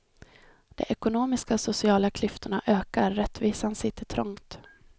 De ekonomiska och sociala klyftorna ökar, rättvisan sitter trångt.